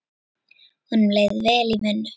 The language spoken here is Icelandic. Honum leið vel í vinnu.